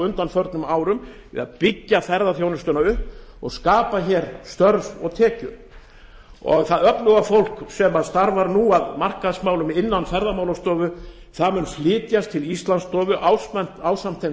undanförnum árum við að byggja upp ferðaþjónustuna og skapa hér störf og tekjur það öfluga fólk sem starfar nú að markaðsmálum innan ferðamálastofu mun flytjast til íslandsstofu ásamt þeim